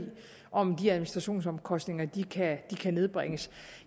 om de administrationsomkostninger kan nedbringes